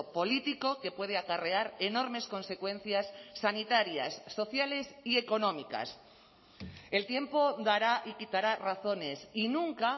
político que puede acarrear enormes consecuencias sanitarias sociales y económicas el tiempo dará y quitará razones y nunca